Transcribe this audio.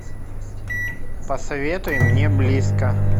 посоветуй мне близко